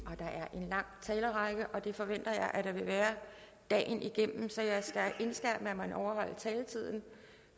en lang talerrække og det forventer jeg at der vil være dagen igennem så jeg skal indskærpe at man overholder taletiden